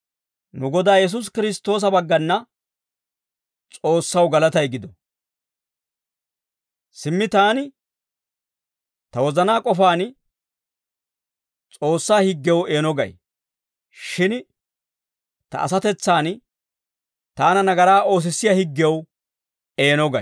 Nu Godaa Yesuusi Kiristtoosa baggana S'oossaw galatay gido. Simmi taani ta wozanaa k'ofaan S'oossaa higgew eeno gay. Shin ta asatetsaan taana nagaraa oosissiyaa higgew eeno gay.